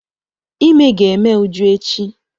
Ímé ga-eme Uju echi.